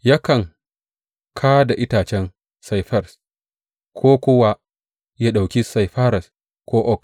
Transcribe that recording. Yakan ka da itacen saifires, ko kuwa ya ɗauki saifires ko oak.